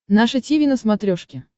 наше тиви на смотрешке